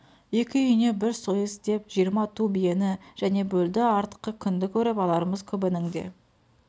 екі үйіне бір сойыс деп жиырма ту биені және бөлді артқы күнді көріп алармыз көбінің де